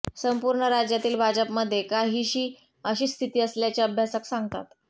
संपूर्ण राज्यातील भाजपमध्ये काहीशी अशीच स्थिती असल्याचे अभ्यासक सांगतात